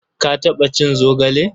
Ka taɓa cin zogale?